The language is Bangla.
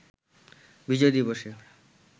বিজয় দিবসে